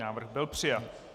Návrh byl přijat.